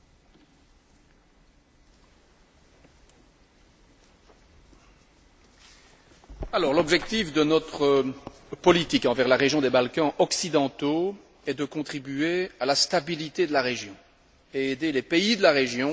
L'objectif de notre politique envers la région des Balkans occidentaux est de contribuer à la stabilité de la région et à aider les pays de la région à établir de façon durable la paix, la démocratie, la stabilité et la prospérité.